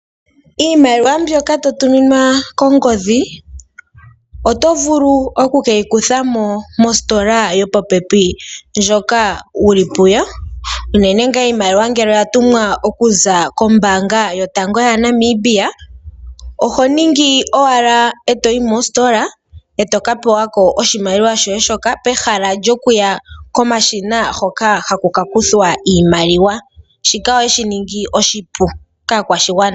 Iimaliwa mbyoka to tuminwa kongodhi oto vulu oku ke yi nana ko mositola yopopepi ndjoka wu li puyo, unene tuu ngele iimaliwa oya tumwa okuza kombaanga yotango yopashigwana. Oho yi owala mositola e to ka pewa ko oshimaliwa shoye pehala lyokuya komashina gokunana iimaliwa. Shika oye shi ningi oshipu kaakwashigwana.